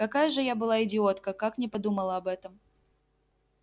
какая же я была идиотка как не подумала об этом